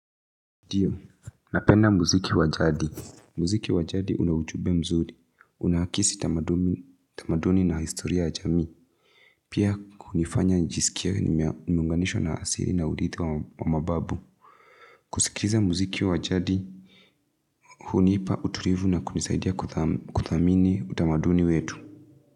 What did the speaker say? Ndio, napenda mziki wa jadi. Mziki wajadi unaujumbe mzuri. Unaakisi tamaduni na historia ya jamii. Pia kunifanya nijisikie nimeunganishwa na asili na urithi wa mababu. Kusikiza mziki wa jadi, hunipa utulivu na kunisaidia kudhamini, utamaduni wetu.